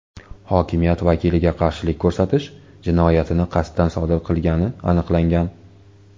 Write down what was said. hokimiyat vakiliga qarshilik ko‘rsatish jinoyatini qasddan sodir qilgani aniqlangan.